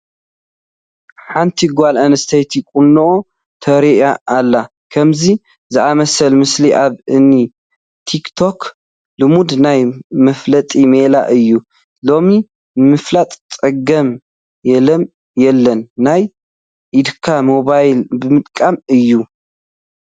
ሓንቲ ጓል ኣንስተይቲ ቑኖኣ ተርኢ ኣላ፡፡ ከምዚ ዝኣምሰለ ምስሊ ኣብ እኒ ቲክ ቶክ ልሙድ ናይ መፋለጢ ሜላ እዩ፡፡ ሎሚ ንምላጥ ፀገም የለን፡፡ ናይ ኢድካ ሞባይል ምጥቃም እዩ፡፡